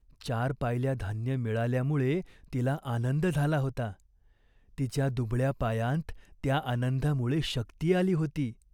चार पायल्या धान्य मिळाल्यामुळे तिला आनंद झाला होता. तिच्या दुबळ्या पायांत त्या आनंदामुळे शक्ती आली होती.